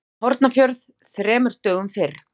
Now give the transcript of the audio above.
Hornafjörð þremur dögum fyrr.